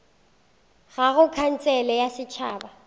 ka go khansele ya setšhaba